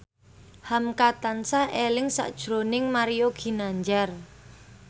hamka tansah eling sakjroning Mario Ginanjar